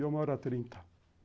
Eu moro há trinta.